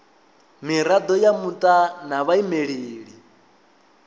mirado ya muta na vhaimeleli